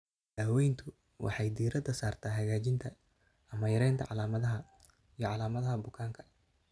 Daaweyntu waxay diiradda saartaa hagaajinta ama yaraynta calaamadaha iyo calaamadaha bukaanka.